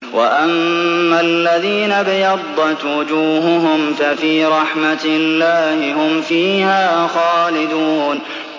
وَأَمَّا الَّذِينَ ابْيَضَّتْ وُجُوهُهُمْ فَفِي رَحْمَةِ اللَّهِ هُمْ فِيهَا خَالِدُونَ